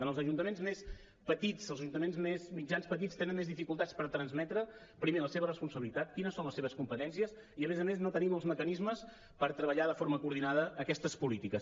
en els ajuntaments més petits els ajuntaments mitjans petits tenen més dificultats per transmetre primer la seva responsabilitat quines són les seves competències i a més a més no tenim els mecanismes per treballar de forma coordinada aquestes polítiques